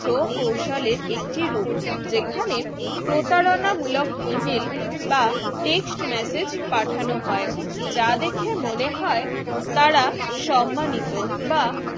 প্রকৌশলের একটি রূপ যেখানে প্রতারণামূলক email বা text message পাঠানো হয় যা দেখে মনে হয় তারা সম্মানিত বা